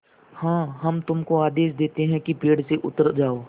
हाँ हम तुमको आदेश देते हैं कि पेड़ से उतर जाओ